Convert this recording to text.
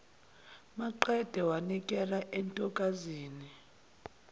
maqede wanikela entokazini